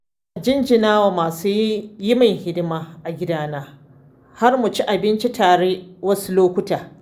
Ina jinjina wa masu yi min hidima a gidana har mu ci abinci tare wasu lokutan.